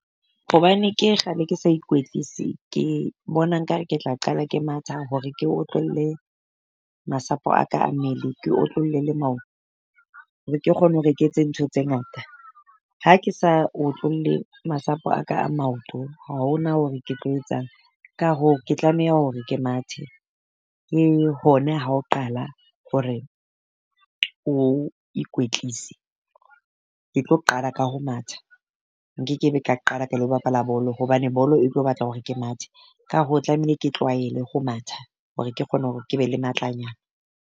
Hobane ke kgale ke sa ikwetlise ke bona nkare ke tla qala ke matha hore ke otlolla masapo a ka a mmele, ke otlolle le maoto. Hore ke kgone hore ke etse ntho tse ngata. Ha ke sa utlwolle masapo a ka a maoto. Ha ho na hore ke tlo etsang, ka hoo ke tlameha hore ke mathe ke hone ha ho qala hore o ikwetlise. Ke tlo qala ka ho matha nkekebe ka qala ka lo bapala bolo hobane bolo e tlo batla hore ke mathe. Ka hoo tlamehile ke tlwaele ho matha hore ke kgone hore ke be le matlanyana.